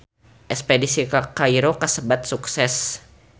Espedisi ka Kairo kasebat sukses